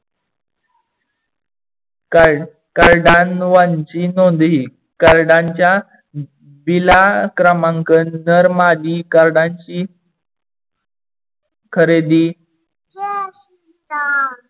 कार्डानवांची नोंदी कार्डानच्या बिला क्रमांक नर मादी कार्डानची खरेदी